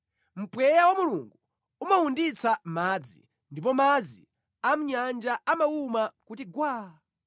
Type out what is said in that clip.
Mpweya wa Mulungu umawunditsa madzi ndipo madzi a mʼnyanja amawuma kuti gwaa.